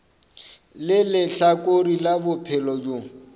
le lehlakore la bophelo bjo